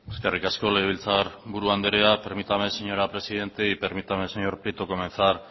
eskerrik asko legebiltzarburu andrea permítame señora presidente y permítame señor prieto comenzar